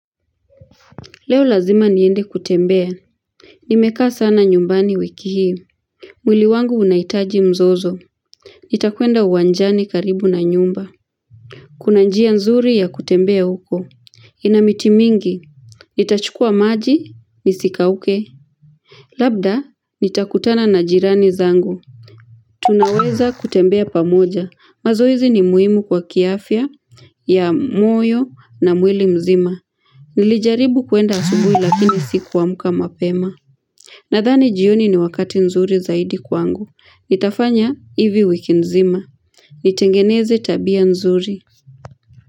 Leo lazima niende kutembea. Nimekaa sana nyumbani wiki hii. Mwili wangu unahitaji mzozo. Nitakuenda uwanjani karibu na nyumba. Kuna njia nzuri ya kutembea huko. Ina miti mingi. Nitachukua maji, nisikauke. Labda, nitakutana na jirani zangu. Tunaweza kutembea pamoja. Mazoezi ni muhimu kwa kiafya ya moyo na mwili mzima. Nilijaribu kuenda asubuhi lakini sikuamka mapema. Nadhani jioni ni wakati nzuri zaidi kwangu. Nitafanya hivi wiki mzima. Nitengeneze tabia nzuri.